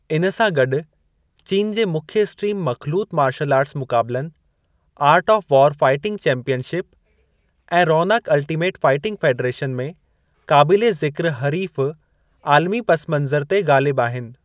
इन सां गॾु चीन जे मुख्य स्ट्रीम मख़लूत मार्शल आर्टस मुक़ाबलनि आर्ट ऑफ़ वारु फाइटिंग चैंपीयनशिप ऐं रॉनक अल्टीमेट फाइटिंग फ़ेडरेशन में क़ाबिले ज़िक्र हरीफ़ु आलिमी पसिमंज़र ते ग़ालिबु आहिनि।